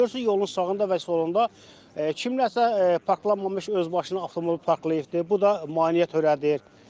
Görürsüz yolun sağında və solunda kimsə parklanmamış özbaşına avtomobil parklayıbdır, bu da maneə törədir.